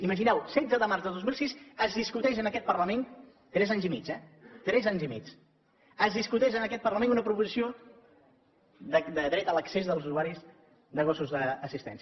imagineu vos setze de març de dos mil sis es discuteix en aquest parlament tres anys i mig eh tres anys i mig una proposició de dret a l’accés dels usuaris de gossos d’assistència